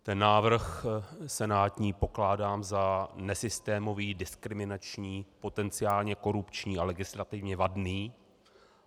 Ten návrh senátní pokládám za nesystémový, diskriminační, potenciálně korupční a legislativně vadný.